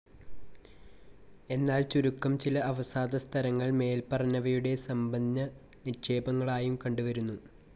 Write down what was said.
എന്നാൽ ചുരുക്കം ചില അവസാദസ്തരങ്ങൾ മേല്പറഞ്ഞവയുടെ സമ്പന്നനിക്ഷേപങ്ങളായും കണ്ടുവരുന്നു.